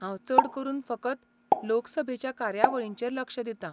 हांव चड करून फकत लोकसभेच्या कार्यावळींचेर लक्ष दितां.